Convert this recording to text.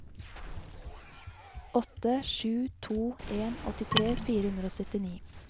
åtte sju to en åttitre fire hundre og syttini